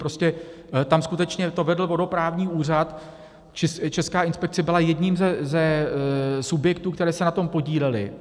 Prostě tam skutečně to vedl vodoprávní úřad, Česká inspekce byla jedním ze subjektů, které se na tom podílely.